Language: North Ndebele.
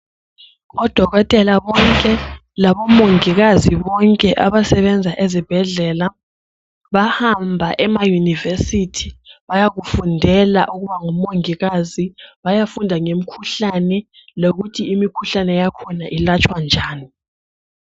Odokotela bonke labomongikazi bonke abasebenza ezibhedlela bahamba emayunivesithi bayakufundela ukuba ngomongikazi bayafunda ngemikhuhlane lokuthi imikhuhlane yakhona ilatshwa njani.